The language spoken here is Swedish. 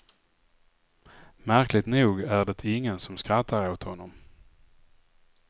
Märkligt nog är det ingen som skrattar åt honom.